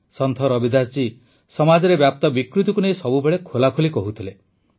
ସନ୍ଥ ରବିଦାସ ଜୀ ସମାଜରେ ବ୍ୟାପ୍ତ ବିକୃତିକୁ ନେଇ ସବୁବେଳେ ଖୋଲାଖୋଲି କହୁଥିଲେ